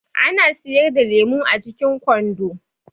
Ana siyar da lemu a cikin kwando.